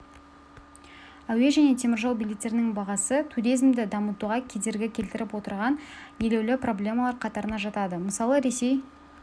әуе және теміржол билеттерінің бағасы туризмді дамытуға кедергі келтіріп отырған елеулі проблемалар қатарына жатады мысалы ресей